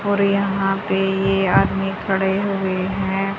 और यहां पे ये आदमी खड़े हुए हैं।